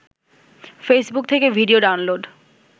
Facebook থেকে video download